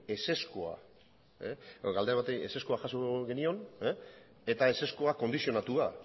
ezezkoa jaso genion eta ezezkoa kondizionatua